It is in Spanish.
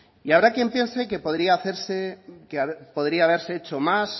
y habrá quien piense que podría hacerse que podría haberse hecho más